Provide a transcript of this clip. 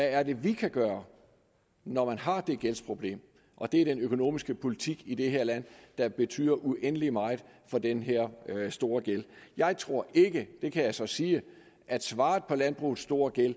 er vi kan gøre når man har det gældsproblem og det er den økonomiske politik i det her land der betyder uendelig meget for den her store gæld jeg tror ikke det kan jeg så sige at svaret på landbrugets store gæld